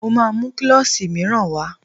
Mo máa mú klọ́ṣì míràn wá.